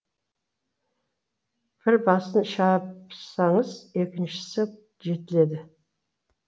бір басын шапсаңыз екіншісі жетіледі